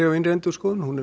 og innri endurskoðun er